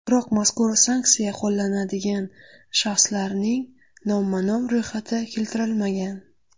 Biroq mazkur sanksiya qo‘llanadigan shaxslarning nomma-nom ro‘yxati keltirilmagan.